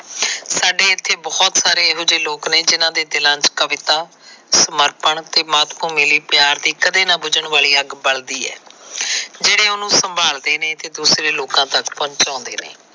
ਸਾਡੇ ਇਥੇ ਬਹੁਤ ਸਾਰੇ ਇਹੋ ਜਿਹੇ ਲੋਕ ਨੇ ਜਿਨ੍ਹਾਂ ਦੇ ਦਿਲਾਂ ਵਿਚ ਕਵਿਤਾਂ, ਸਮਰਪਣ ਤੇ ਮਾਤ ਭੂਮੀ ਲਈ ਪਿਆਰ ਦੀ ਕਦੇ ਨਾ ਬੁੱਝਣ ਵਾਲੀ ਅੱਗ ਬਲਦੀ ਆ। ਜਿਹੜੇ ਉਹਨੂੰ ਸੰਭਾਲਦੇ ਨੇ ਤੇ ਦੂਸਰੇ ਲੋਕਾਂ ਤੱਕ ਪਹੁੰਚਦੇ ਨੇ।